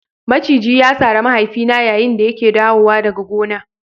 Maciji ya sare mahaifina yayin da yake dawowa daga gona.